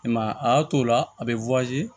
I m'a ye a y'a to o la a bɛ